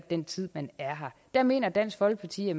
den tid man er her der mener dansk folkeparti at